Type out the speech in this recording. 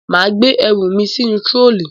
Màa gbé erùmi sínú trolley